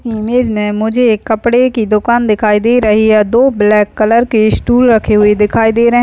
इ इमेज में मुझे एक कपड़े की दुकान दिखाई दे रही है दो ब्लैक कलर के स्टूल रखी हुई दिखाई दे रहे--